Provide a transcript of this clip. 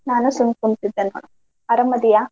ನಾನು ಸುಮ್ಮ್ ಕುಂತಿದ್ದೆ ನೋಡ್ ಅರಾಮದೀಯಾ?